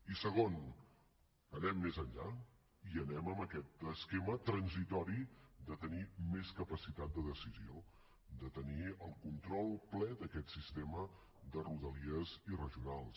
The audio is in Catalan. i segon anem més enllà i anem amb aquest esquema transitori de tenir més capacitat de decisió de tenir el control ple d’aquest sistema de rodalies i regionals